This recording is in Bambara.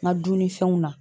Ŋa dunnifɛnw na